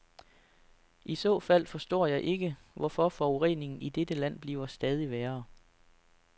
I så fald forstår jeg ikke, hvorfor forureningen i dette land bliver stadig værre.